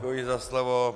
Děkuji za slovo.